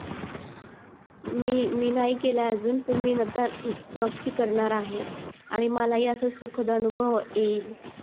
मी मी नाही केलाय अजून पण मी नक्की करणार आहे आणि मला हि असा सुखद अनुभव येईल